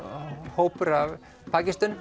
hópur af